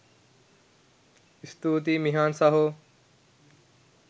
ස්තුතියි මිහාන් සහෝ